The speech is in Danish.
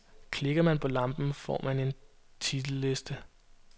Klikker man på lampen, får man en titelliste.